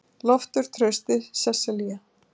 Loftur, Trausti og Sesselía.